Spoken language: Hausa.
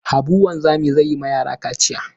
Habu wanzami zai yi ma yara kaciya